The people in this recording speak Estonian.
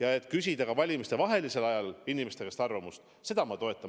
Aga et küsida ka valimistevahelisel ajal inimeste käest arvamust, seda ma toetan.